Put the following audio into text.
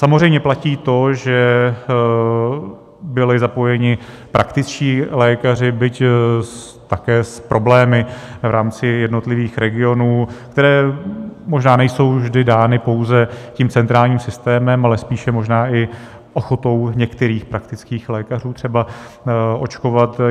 Samozřejmě platí to, že byli zapojeni praktičtí lékaři, byť také s problémy v rámci jednotlivých regionů, které možná nejsou vždy dány pouze tím centrálním systémem, ale spíše možná i ochotou některých praktických lékařů třeba očkovat.